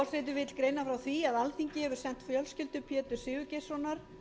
forseti vill greina frá því að alþingi hefur sent fjölskyldu péturs sigurgeirssonar